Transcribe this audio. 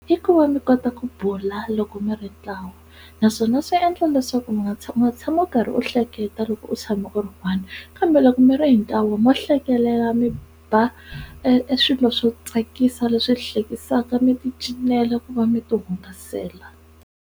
I ku va mi kota ku bula loko mi ri ntlawa naswona swi endla leswaku mi nga tshama tshami u karhi u hleketa loko u tshama u ri one kambe loko mi ri hi ntlawa mo hlekelela mi ba e swilo swo tsakisa leswi hlekisaka mi ti cinela na ku va mi ti hungasela.